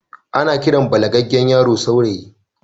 Ana Kiran balagaggen yaro saurayi